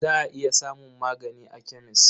Za a iya samun magani a kemes.